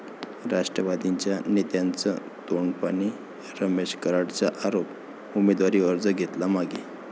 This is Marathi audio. राष्ट्रवादीच्या नेत्यांचं 'तोडपाणी', रमेश कराडांचा आरोप, उमेदवारी अर्ज घेतला मागे